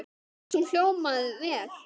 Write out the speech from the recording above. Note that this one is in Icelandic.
Mér fannst hún hljóma vel.